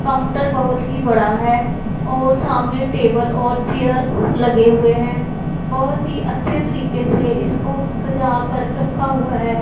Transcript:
Counter बहोत ही बड़ा है और सामने टेबल और चेयर लगे हुए हैं बहोत ही अच्छे तरीके से इसको सजा कर रखा हुआ है।